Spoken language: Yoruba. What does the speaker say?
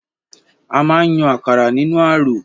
A máa n yàn àkàrà nínú aró.